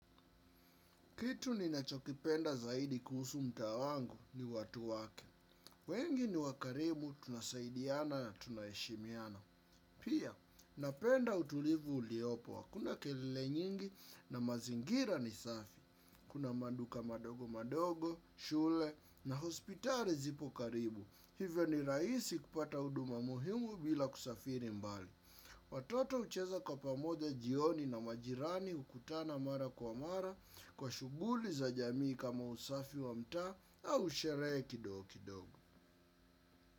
Kitu ninachokipenda zaidi kuhusu mtaa wangu ni watu wake. Wengi ni wakarimu, tunasaidiana na tunaheshimiana. Pia, napenda utulivu uliopo, hakuna kelele nyingi na mazingira ni safi. Kuna maduka madogo madogo, shule na hospitali zipo karibu. Hivyo ni raisi kupata uduma muhimu bila kusafiri mbali. Watoto ucheza kwa pamoja jioni na majirani hukutana mara kwa mara. Kwa shuguli za jamii kama usafi wa mtaa au sherehe kidogo kidogo.